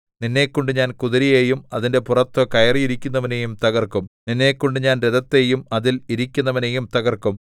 നിന്നെക്കൊണ്ട് ഞാൻ കുതിരയെയും അതിന്റെ പുറത്തു കയറിയിരിക്കുന്നവനെയും തകർക്കും നിന്നെക്കൊണ്ട് ഞാൻ രഥത്തെയും അതിൽ ഇരിക്കുന്നവനെയും തകർക്കും